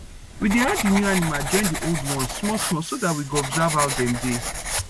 we dey add the new animal join the old ones small small so that we go observe ow dem dey